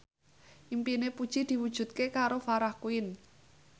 impine Puji diwujudke karo Farah Quinn